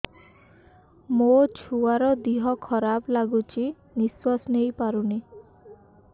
ମୋ ଛୁଆର ଦିହ ଖରାପ ଲାଗୁଚି ନିଃଶ୍ବାସ ନେଇ ପାରୁନି